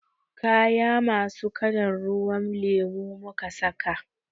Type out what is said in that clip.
Kaya masu kalan ruwan lemo muka saka.